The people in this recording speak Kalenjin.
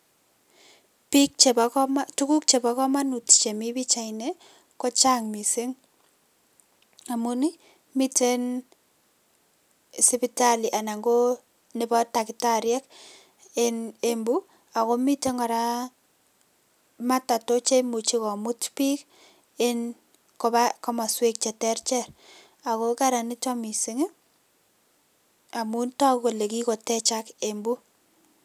Bik chebo komonut, tuguk chebo komonut chemi pichaini kochang missing amun ii miten sibitali anan ko nebo takitariek enn Embu ako miten kora matatu che imuche komut bik enn koba komaswek je terter Ako kararan niton mising ii amun toku kole kikotechak Embu.